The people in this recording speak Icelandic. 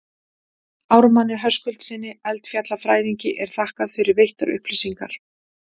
Ármanni Höskuldssyni, eldfjallafræðingi, er þakkað fyrir veittar upplýsingar.